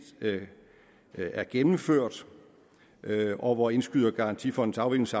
er gennemført og hvor indskydergarantifondens